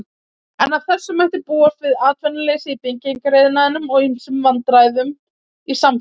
En af þessu mætti búast við atvinnuleysi í byggingariðnaði og ýmsum vandræðum í samfélaginu.